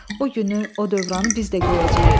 O günü, o dövranı biz də görəcəyik.